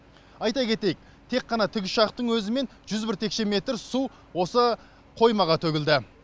айта кетейік тек қана тікұшақтың өзімен жүз бір текше метр су осы қоймаға төгілді